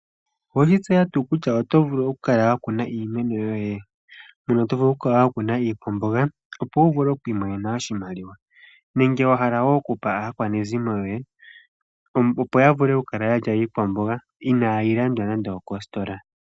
Owe shi tseya tuu kutya oto vulu okukala wa kuna iimeno yoye? Mono to vulu okukala wa kuna iikwamboga, opo wu vule oku imonena oshimaliwa nenge wa hala wo okupa aakwanezimo yoye, opo ya vule okukala ya lya iikwamboga inaayi landwa nande okositola.